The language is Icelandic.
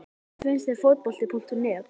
Nei Hvernig finnst þér Fótbolti.net?